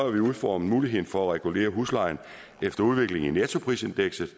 vi udformet muligheden for at regulere huslejen efter udviklingen i nettoprisindekset